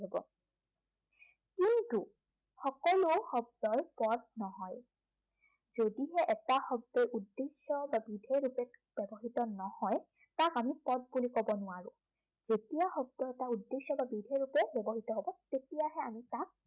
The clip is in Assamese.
সকলো শব্দই পদ নহয়। যদিহে এটা শব্দই উদ্দেশ্য় বা বিধেয় ৰূপে ব্য়ৱহৃত নহয়, তাক আমি পদ বুলি কব নোৱাৰো। যেতিয়া শব্দ এটা উদ্দেশ্য় বা বিধেয় ৰূপে ব্য়ৱহৃত হব তেতিয়াহে আমি তাক